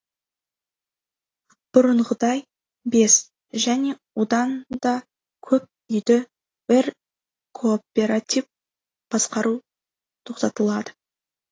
бұрынғыдай бес және одан да көп үйді бір кооператив басқару тоқтатылады